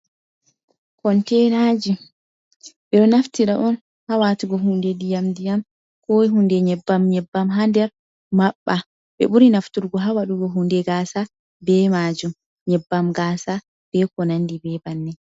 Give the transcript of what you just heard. Kontenaji ɓe ɗo naftira on ha waatugo hunde ndiyam ndiyam, ko hunde nyebbam nyebbam ha nder maɓɓa, ɓe ɓuri nafturgo ha waɗugo hunde gaasa be majum, nyebbam gasa be ko nandi be banni.